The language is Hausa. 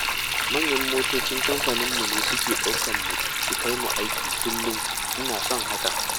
Manyan motocin kamfaninmu ne suke ɗaukarmu su kai mu aiki kullum, ina son haka!